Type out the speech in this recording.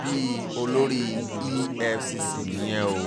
bíi olórí efcc nìyẹn o